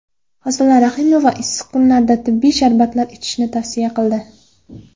Hosila Rahimova issiq kunlarda tabiiy sharbatlar ichishni tavsiya qildi.